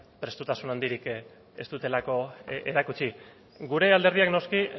prestutasun handirik ez dutelako erakutsi gure alderdiak noski